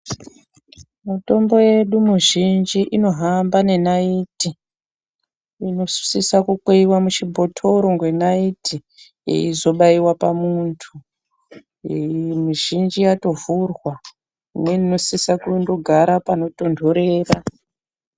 Mitombo yedu mizhinji inohamba nenaiti, inosisa kukweveva muchibhotoro nenaiti ichizobaiwa pamuntu mizhinji yatovhurwa, uye mundosisa kundogara panotonherera.